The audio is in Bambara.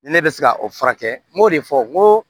Ne bɛ se ka o furakɛ n b'o de fɔ n ko